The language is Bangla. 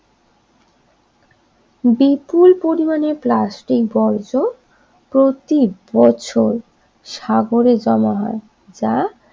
বিপুল পরিমাণে প্লাস্টিক বর্জ্য প্রতিবছর সাগরে জমা হয় যা